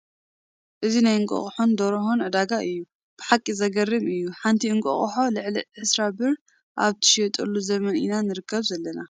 እዚ ናይ እንቋቁሖን ደርሆን ዕዳጋ እዩ፡፡ ብሓቂ ዘግርም እዩ፡፡ ሓንቲ እንቋቑሖ ልዕሊ ዕስራ ብር ኣብ ትሽየጠሉ ዘመን ኢና ንርከብ ዘለና፡፡